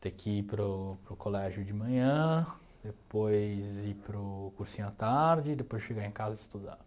ter que ir para o para o colégio de manhã, depois ir para o cursinho à tarde, depois chegar em casa e estudar.